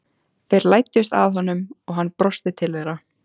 Þeir læddust að honum og hann brosti til þeirra.